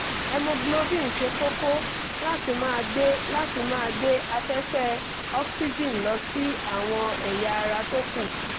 hemoglobin ṣe kókó láti máa gbé láti máa gbé afẹ́fẹ́ ọ́síjìn lọ sí àwọn ẹ̀yà ara tó kù